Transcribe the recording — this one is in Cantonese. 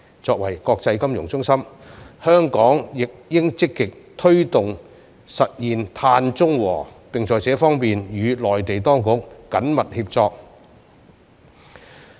作為國際金融中心，香港亦應積極推動實現碳中和，並在這方面與內地當局緊密協作。